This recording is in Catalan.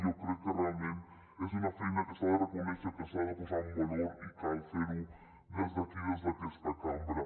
jo crec que realment és una feina que s’ha de reconèixer que s’ha de posar en valor i cal fer ho des d’aquí des d’aquesta cambra